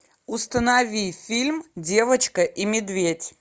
установи фильм девочка и медведь